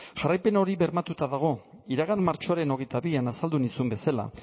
jarraipen hori bermatuta dago iragan martxoaren hogeita bian azaldu nizun bezala